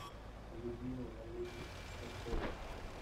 людмила валерьевна старкова